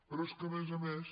però és que a més a més